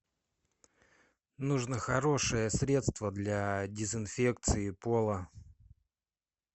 нужно хорошее средство для дезинфекции пола